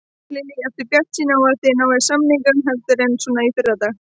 Lillý: Ertu bjartsýnn á að þið náið samningum heldur en svona fyrri daga?